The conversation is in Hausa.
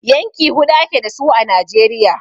Yanki huɗu ake dasu a Najeriya.